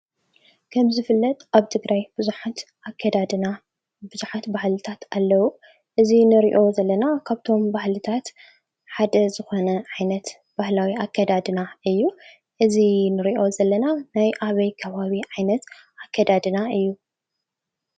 ከም ዝፍለጥ ኣብ ትግራይ ብዙሓት ኣከዳድና፣ ቡዙሓት ባህልታት ኣለው። እዚ ንሪኦ ዘለና ካብቶም ባህልታት ሓደ ዝኾነ ዓይነት ባህላዊ ኣከዳድና እዩ። እዚ ንሪኦ ዘለና ናይ ኣበይ ከባቢ ዓይነት ኣከዳድና እዩ?